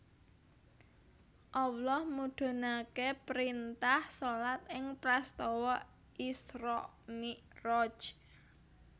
Allah mudhunake printah shalat ing prastawa Isra Miraj